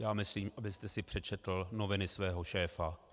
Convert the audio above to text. Já myslím, abyste si přečetl noviny svého šéfa.